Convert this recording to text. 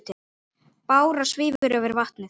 Bára svífur yfir vatnið.